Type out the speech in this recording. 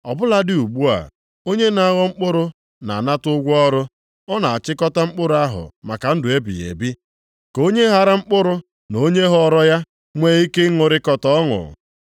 Ọ bụladị ugbu a, onye na-aghọ mkpụrụ na-anata ụgwọ ọrụ, ọ na-achịkọta mkpụrụ ahụ maka ndụ ebighị ebi, ka onye ghara mkpụrụ na onye ghọrọ ya nwee ike ịṅụrịkọta ọṅụ.